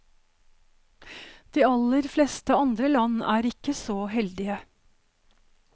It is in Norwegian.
De aller fleste andre land er ikke så heldige.